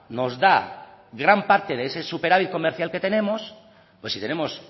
nos da gran parte de ese superávit comercial que tenemos pues si tenemos